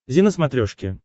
зи на смотрешке